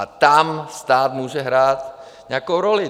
A tam stát může hrát nějakou roli.